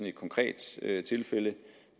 et konkret tilfælde